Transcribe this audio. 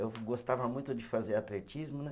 Eu gostava muito de fazer atletismo, né?